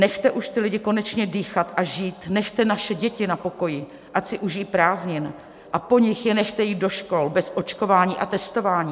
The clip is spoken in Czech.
Nechte už ty lidi konečně dýchat a žít, nechte naše děti na pokoji, ať si užijí prázdnin, a po nich je nechte jít do škol bez očkování a testování.